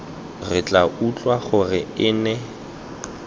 re tla utlwa gore ene